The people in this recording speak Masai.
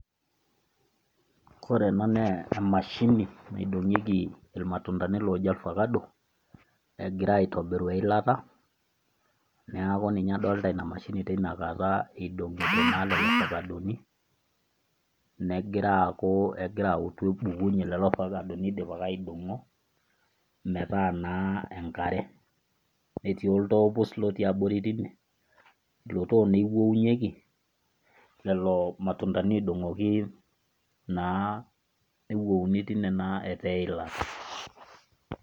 Kore ena na emashini naidong'ieki ilmatundani ooji ilfakado, egirai aitobiru eilata neaku ninye adolita ina mashini tenakata idong'ito, naa lelo fakadoni negira aaku egira autu ebukunye lelo fakadonii eidipaki aidong'o metaa naa enkare. Netii oltoo pus otii abori teine, ilo too naa ewounieki lelo matundani oidong'oki naa newouni teine naa etaa eilata.